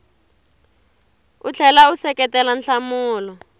u tlhela u seketela nhlamulo